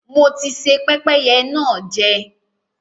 Mo ti se pẹ́pẹ́yẹ náà jẹ.